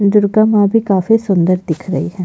दुर्गा माँ भी काफी सुन्दर दिख रही हैं।